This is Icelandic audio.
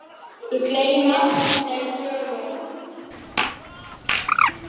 Ég gleymi ekki þessari sögu.